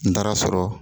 N taara sɔrɔ